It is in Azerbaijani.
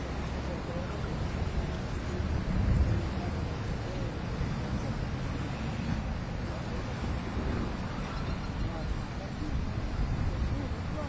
Yəni, inşallah ki, hamısı işdə, inşallah ki, burda hər bir şey açılacaq yəni gələcək üçün burda bütün avto təmirlər üçün hər bir şey, yəni burda hamısı tikilir yavaş-yavaş.